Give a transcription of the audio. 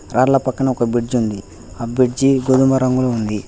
రాళ్ల పక్కన ఒక బ్రిడ్జ్ ఉంది అ బుజ్జి గోధుమ రంగులో ఉంది.